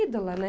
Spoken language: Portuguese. ídola, né?